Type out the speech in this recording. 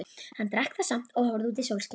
Hann drakk það samt og horfði út í sólskinið.